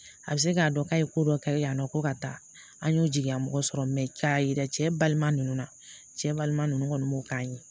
A bɛ se k'a dɔn k'a ye ko dɔ kɛ yan nɔ ko ka taa an y'o jigin mɔgɔ sɔrɔ y'a yira cɛ balima ninnu na cɛ balima ninnu kɔni m'o k'an ye